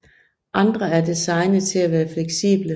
Andre er designet til at være fleksible